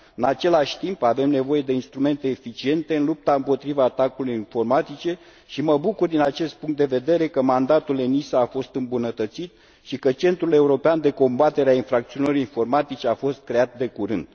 În același timp, avem nevoie de instrumente eficiente în lupta împotriva atacurilor informatice și mă bucur, din acest punct de vedere, că mandatul ENISA a fost îmbunătățit și că Centrul european de combatere a infracțiunilor informatice a fost creat de curând.